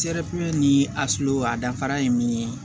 ni a sulu a danfara ye min ye